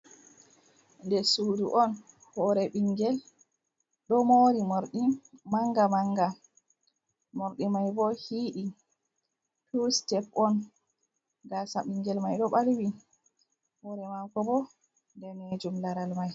Nder sudu on, hore ɓingel ɗo mori manga manga morɗi mai bo hiiɗi, tu sitep on gasa bingel mai ɗo ɓalwi hore mako bo danejum laral mai.